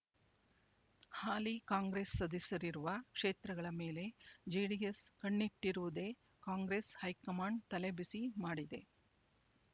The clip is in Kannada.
ಹಾಲಿ ಕಾಂಗ್ರೆಸ್ ಸದಸ್ಯರಿರುವ ಕ್ಷೇತ್ರಗಳ ಮೇಲೆ ಜೆಡಿಎಸ್ ಕಣ್ಣಿಟ್ಟಿರುವುದೇ ಕಾಂಗ್ರೆಸ್ ಹೈಕಮಾಂಡ್ ತಲೆಬಿಸಿ ಮಾಡಿದೆ